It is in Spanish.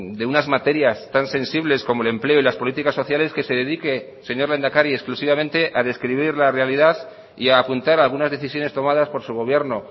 de unas materias tan sensibles como el empleo y las políticas sociales que se dedique señor lehendakari exclusivamente a describir la realidad y a apuntar algunas decisiones tomadas por su gobierno